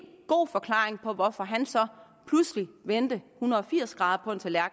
god forklaring på hvorfor han så pludselig vendte hundrede og firs grader